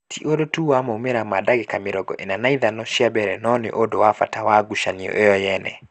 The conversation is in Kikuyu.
Ti ũndũ tu wa maumĩrĩra ma dagĩka mirongo-ĩna na ithano cia mbere no nĩ ũndũ wa bata wa ngucanio ĩyo nyene